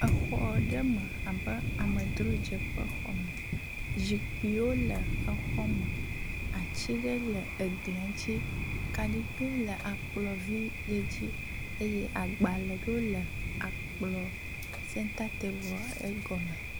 Exɔ ɖe me abe amedzrodzeƒe xɔme. Zikpuiwo le exɔ me. Ati ɖe le eglia ŋtsi. Kaɖigbɛ le akplɔvi yi ŋtsi eye agbale ɖe wo le akplɔ senta table egɔme.